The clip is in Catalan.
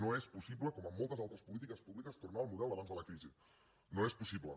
no és possible com en moltes altres polítiques públiques tornar al model d’abans de la crisi no és possible